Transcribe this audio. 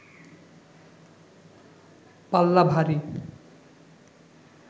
পাল্লা ভারী